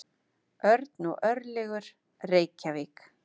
Örn og Örlygur, Reykjavík.